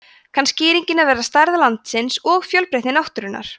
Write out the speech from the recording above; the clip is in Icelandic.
kann skýringin að vera stærð landsins og fjölbreytni náttúrunnar